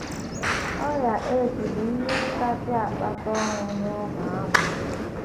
Ọrịa AIDS bụ ihe kasị akpata ọnwụ n’ógbè ahụ.